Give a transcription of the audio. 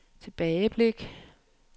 tilbageblik